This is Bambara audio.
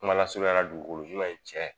Kuma lasurunyala dugukolo ɲuman ye tiɲɛ